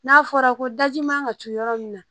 N'a fɔra ko daji man ka co yɔrɔ min na